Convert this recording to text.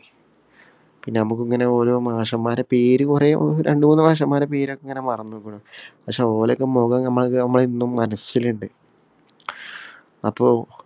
പിന്നെ നമ്മക്ക് ഇങ്ങനെ ഓരോ മാഷന്മാരെ പേര് കൊറേ, രണ്ടു മൂന്ന് മാഷന്മാരെ പേര് ഇങ്ങനെ മറന്നേക്കുണ്. പക്ഷെ ഒരൊക്കെ മൊഖം നമ്മടെ ഇന്നും മനസിലുണ്ട്.